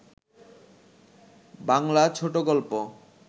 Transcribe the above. বাংলা ছোট গল্প